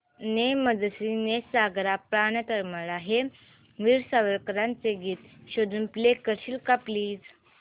ने मजसी ने सागरा प्राण तळमळला हे वीर सावरकरांचे गीत शोधून प्ले करशील का प्लीज